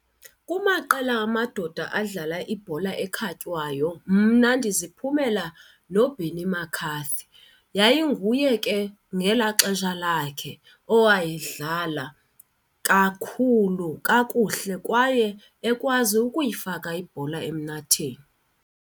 Kumaqela amadoda adlala ibhola ekhatywayo mna ndiziphumela noBenni McCarthy. Yayinguye ke ngelaa xesha lakhe owayedlala kakhulu kakuhle kwaye ekwazi ukuyifaka ibhola emnatheni.